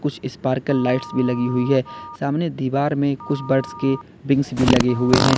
कुछ sparkle lights भी लगी हुई है सामने दीवार में कुछ बर्ड्स के विंग्स भी लगे हुए हैं।